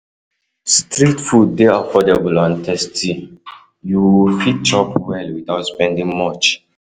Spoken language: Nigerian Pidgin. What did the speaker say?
Street food dey affordable and tasty; you fit chop well without spending much.